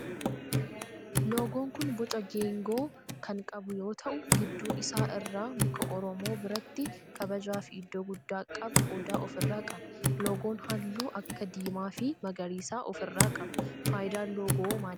Loogoon kun boca geegoo kan qabuu yoo ta'u gidduu isaa irraa muka oromoo biratti kabajaa fi iddoo gudddaa qabu odaa of irraa qaba. loogoon halluu akka diimaa fi magariisa of irraa qaba. faayidaan loogoo maalidha?